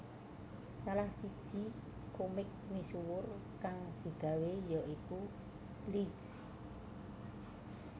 Salah siji komik misuwur kang digawé ya iku Bleach